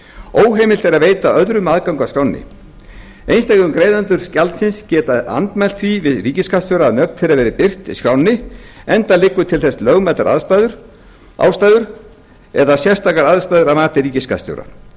óheimilt er að veita öðrum aðgang að skránni einstökum greiðendur gjaldsins geta andmælt því við ríkisskattstjóra að nöfn þeirra verði birt í skránni enda liggja til þess lögmætar ástæður eða sérstakar aðstæður að mati ríkisskattstjóra